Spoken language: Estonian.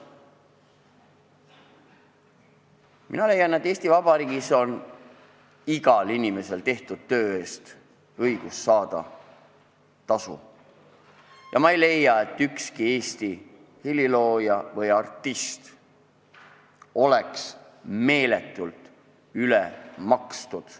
Mina leian, et Eesti Vabariigis on igal inimesel õigus saada tehtud töö eest tasu, ja ma ei arva, et ükski helilooja või artist oleks meil meeletult ülemakstud.